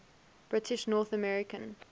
british north american